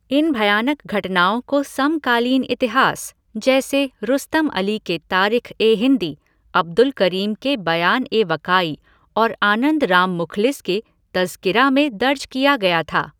इन भयानक घटनाओं को समकालीन इतिहास, जैसे रुस्तम अली के तारिख ए हिंदी, अब्दुल करीम के बयान ए वकाई और आनंद राम मुखलिस के तज़किरा, में दर्ज किया गया था।